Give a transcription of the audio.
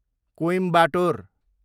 Coimbatore